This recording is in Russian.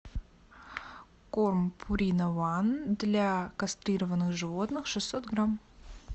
корм пурина ван для кастрированных животных шестьсот грамм